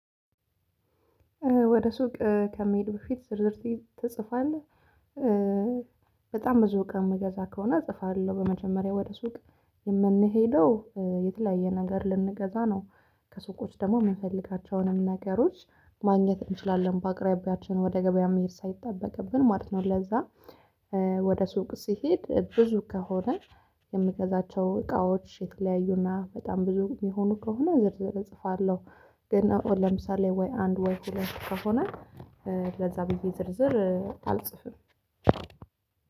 ወደ ሱቅ ከመሄድ በፊት ዝርዝር ትጽፋለህ። በጣም ብዙ እቃ የምገዛ ከሆነ እጽፋለሁ በመጀመሪያ ወደ ሱቅ የምንሄደው የተለያየ ነገር ልንገዛ ነው ከሱቆች ደግሞ የምንፈልጋቸውንም ነገሮች ማግኘት እንችላለን በአቅራቢያችን ወደ ገበያ መሄድ ሳይጠበቅብን ማለት ነው። ለዛ ወደ ሱቅ ስሄድ ብዙ ከሆነ የምገዛቸው እቃዎች የተለያዩና በጣም ብዙ የሚሆኑ ከሆነ ዝርዝር እጽፋለሁ። ግን አሁን ለምሳሌ ወይ አንድ ወይ ሁለት ከሆነ ለዛ ብዬ ዝርዝር አልጽፍም